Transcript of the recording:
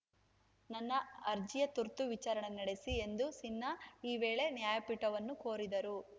ನನ್ನ ಅರ್ಜಿಯ ತುರ್ತು ವಿಚಾರಣೆ ನಡೆಸಿ ಎಂದು ಸಿನ್ಹಾ ಈ ವೇಳೆ ನ್ಯಾಯಪೀಠವನ್ನು ಕೋರಿದರು